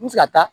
N bɛ se ka taa